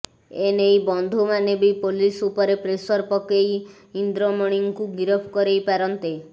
ଏଇ ବନ୍ଧୁମାନେ ବି ପୋଲିସ୍ ଉପରେ ପ୍ରେସର ପକେଇ ଇନ୍ଦ୍ରମଣୀଙ୍କୁ ଗିରଫ କରେଇ ପାରନ୍ତେ